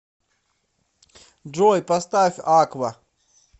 джой поставь аква